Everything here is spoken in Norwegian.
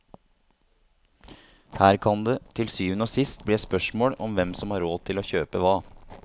Her kan det til syvende og sist bli et spørsmål om hvem som har råd til å kjøpe hva.